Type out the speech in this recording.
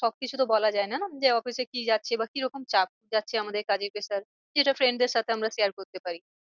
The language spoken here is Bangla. সব কিছু তো বলা যায় না না যে office এ কি যাচ্ছে বা কিরকম চাপ যাচ্ছে আমাদের কাজের pressure যেটা friend দের সাথে আমরা share করতে পার।